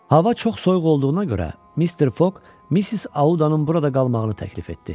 Hava çox soyuq olduğuna görə Mister Foq Missis Audanın burada qalmağını təklif etdi.